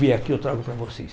Vem aqui, eu trago para vocês.